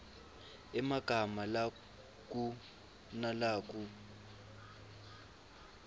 emagama lakua nalakub